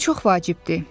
Bu çox vacibdir.